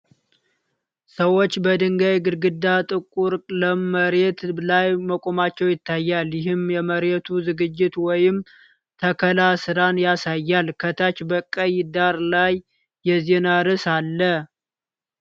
ሰዎች በድንጋይ ግድግዳና ጥቁር ለም መሬት ላይ መቆማቸው ይታያል፤ ይህም የመሬት ዝግጅት ወይም ተከላ ሥራን ያሳያል። ከታች በቀይ ዳራ ላይ የዜና ርዕስ አለ።